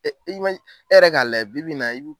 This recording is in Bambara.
Ɛ i e be i e yɛrɛ k'a lajɛ bibi in na i be